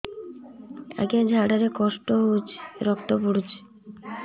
ଅଜ୍ଞା ଝାଡା ରେ କଷ୍ଟ ହଉଚି ରକ୍ତ ପଡୁଛି